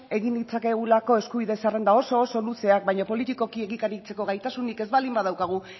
egin ditzakegulako eskubide zerrenda oso oso luzeak baina politikoki egikaritzeko gaitasunik ez baldin badaukagu